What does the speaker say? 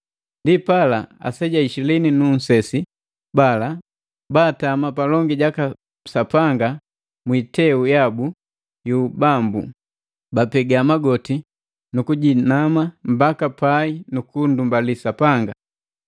Ndipala, aseja ishilini nu nsesi bala baatami palongi jaka Sapanga mwi iteu yabu yu ubambu, bapega magoti nukujinama mbaka pai nu kundumbali Sapanga,